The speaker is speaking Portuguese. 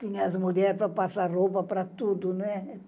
Tinha as mulheres para passar roupa para tudo, né?